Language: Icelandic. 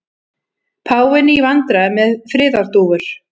Páfinn í vandræðum með friðardúfur